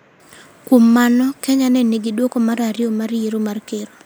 Kuom mano, Kenya ne nigi duoko mar ariyo mar yiero mar ker.